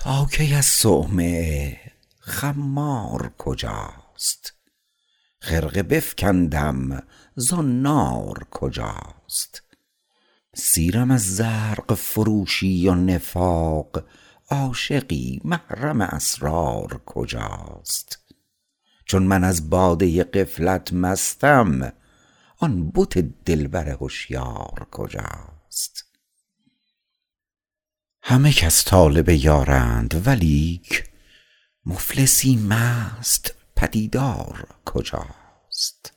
تا کی از صومعه خمار کجاست خرقه بفکندم زنار کجاست سیرم از زرق فروشی و نفاق عاشقی محرم اسرار کجاست چون من از باده غفلت مستم آن بت دلبر هشیار کجاست همه کس طالب یارند ولیک مفلسی مست پدیدار کجاست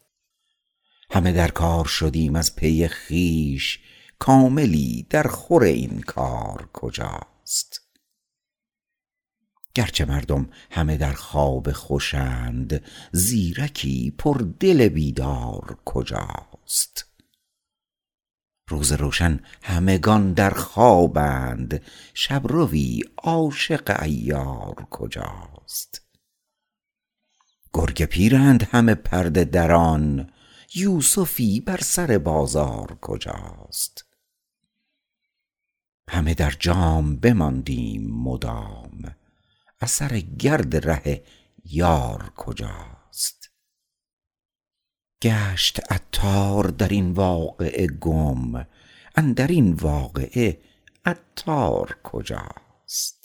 همه در کار شدیم از پی خویش کاملی در خور این کار کجاست گرچه مردم همه در خواب خوشند زیرکی پر دل بیدار کجاست روز روشن همگان در خوابند شبروی عاشق عیار کجاست گر گ پیرند همه پرده دران یوسفی بر سر بازار کجاست همه در جام بماندیم مدام اثر گرد ره یار کجاست گشت عطار در این واقعه گم اندرین واقعه عطار کجاست